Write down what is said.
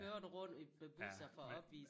Kører du rundt i med busser for at opvise?